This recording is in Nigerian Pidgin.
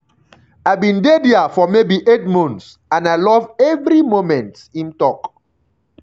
i bin dey dia for maybe eight months and i love evri moment"im tok.